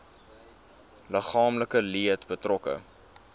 liggaamlike leed betrokke